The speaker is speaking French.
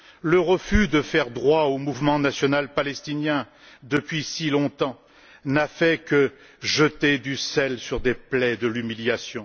Le refus de faire droit au mouvement national palestinien depuis si longtemps n'a fait que jeter du sel sur des plaies de l'humiliation.